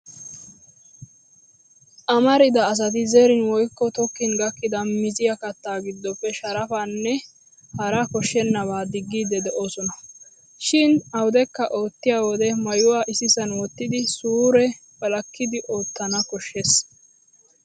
Asamarida asati zerin woykko tokkin gakkidi miziya kattaa giddoppe sharafaanne hara koshshennabaa diggiiddi doosona. Shin awudekka oottiyo wode maayuwaa issisan wottidi suure wolakkidi oottana koshshes.